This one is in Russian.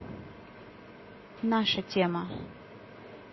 наша тема